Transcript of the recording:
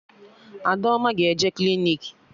Adaoma ga-eje klinik